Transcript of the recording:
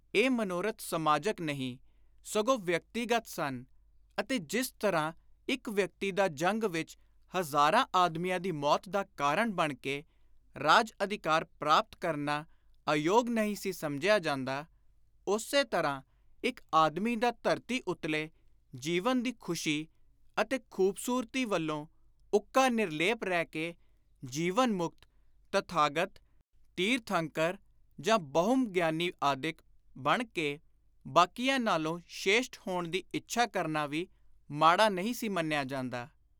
ਇਹ ਮਨੋਰਥ ਸਮਾਜਕ ਨਹੀਂ, ਸਗੋਂ ਵਿਅਕਤੀਗਤ ਸਨ ਅਤੇ ਜਿਸ ਤਰ੍ਹਾਂ ਇਕ ਵਿਅਕਤੀ ਦਾ ਜੰਗ ਵਿਚ ਹਜ਼ਾਰਾਂ ਆਦਮੀਆਂ ਦੀ ਮੌਤ ਦਾ ਕਾਰਣ ਬਣ ਕੇ ਰਾਜ-ਅਧਿਕਾਰ ਪ੍ਰਾਪਤ ਕਰਨਾ ਅਯੋਗ ਨਹੀਂ ਸੀ ਸਮਝਿਆ ਜਾਂਦਾ; ਉਸੇ ਤਰ੍ਹਾਂ ਇਕ ਆਦਮੀ ਦਾ ਧਰਤੀ ਉਤਲੇ ਜੀਵਨ ਦੀ ਖ਼ੁਸ਼ੀ ਅਤੇ ਖ਼ੁਬਸੁਰਤੀ ਵੱਲੋਂ ਉੱਕਾ ਨਿਰਲੇਪ ਰਹਿ ਕੇ ਜੀਵਨ-ਮੁਕਤ, ਤਥਾਗਤ, ਤੀਰਥੰਕਰ ਜਾਂ ਬਹੁਮ ਗਿਆਨੀ ਆਦਿਕ ਬਣ ਕੇ ਬਾਕੀਆਂ ਨਾਲੋਂ ਸ਼ੇਸ਼ਟ ਹੋਣ ਦੀ ਇੱਛਾ ਕਰਨਾ ਵੀ ਮਾੜਾ ਨਹੀਂ ਸੀ ਮੰਨਿਆ ਜਾਂਦਾ।